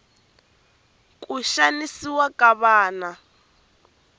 xanisiwa ka vana